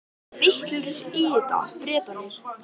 Þeir eru vitlausir í þetta, Bretarnir.